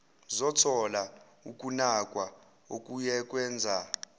zothola ukunakwa okuyokwenza